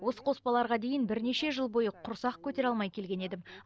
осы қоспаларға дейін бірнеше жыл бойы құрсақ көтере алмай келген едім